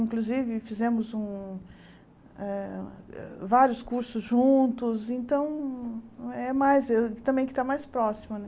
Inclusive, fizemos um um vários cursos juntos, então, é é mais, também fica mais próximo